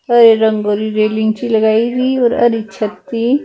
ਹਰੇ ਰੰਗ ਵਾਲੀ ਰੇਲਿੰਗ ਜਿਹੀ ਲਗਾਈ ਹੁਈ ਔਰ ਹਰੀ ਛੱਤਰੀ--